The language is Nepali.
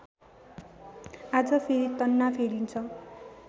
आज फेरि तन्ना फेरिन्छ